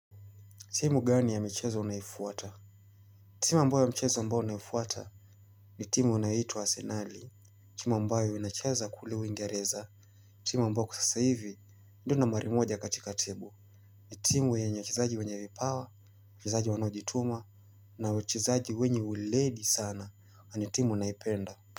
Timu gani ya michezo unaifuata? Timu ambayo ya mchezo ambayo unaifuata ni timu unayoitwa arsenali. Timu ambayo inachaza kule uingereza timu ambayo kwa sasa hivi ndio nambari moja katika table. Ni timu yenye wachezaji wenye vipawa, wachezaji wanaojituma na wachezaji wenye uledi sana, na ni timu unayopenda.